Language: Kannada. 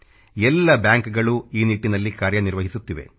ಎಲ್ಲ ಬ್ಯಾಂಕ್ಗಳು ಈ ನಿಟ್ಟಿನಲ್ಲಿ ಕಾರ್ಯನಿರ್ವಹಿಸುತ್ತಿವೆ